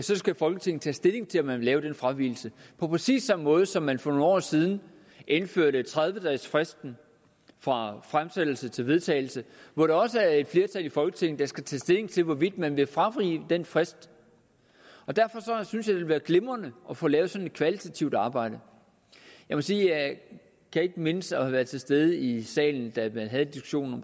det skal folketinget tage stilling til om man vil lave den fravigelse på præcis samme måde som da man for nogle år siden indførte tredive dages fristen fra fremsættelse til vedtagelse hvor det også er et flertal i folketinget der skal tage stilling til hvorvidt man vil fravige den frist derfor synes jeg det ville være glimrende at få lavet sådan et kvalitativt arbejde jeg må sige at jeg ikke kan mindes at have været til stede i salen da man havde diskussionen